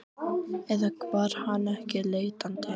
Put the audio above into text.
Eða var hann ekki leitandi?